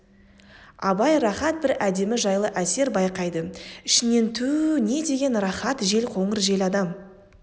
абай рахат бір әдемі жайлы әсер байқайды ішінен түу не деген рахат жел қоңыр жел адам